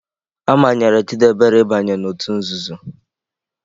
A manyere Chidebere ịbanye n'òtù nzuzo.